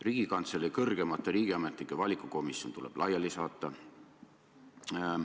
Riigikantselei kõrgemate riigiametnike valikukomisjon tuleb laiali saata.